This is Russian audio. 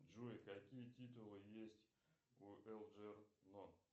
джой какие титулы есть у элджернон